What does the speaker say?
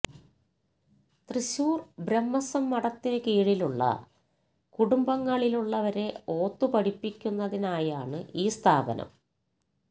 തൃശ്ശൂര് ബ്രഹ്മസ്വം മഠത്തിനു കീഴിലുള്ള കുടുംബങ്ങളിലുള്ളവരെ ഓത്തു പഠിപ്പിക്കുന്നതിനായാണ് ഈ സ്ഥാപനം